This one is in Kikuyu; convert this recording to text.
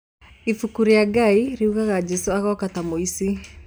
Ibuku rĩa Ngai riugaga Jesũ agoka ta mũici.